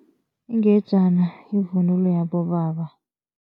Ingejana yivunulo yabobaba.